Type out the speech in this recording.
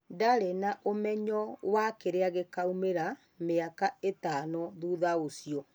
Ndarĩ na ũmenyo wa kĩrĩa gĩkaumira mĩaka ĩtano thutha ũcio.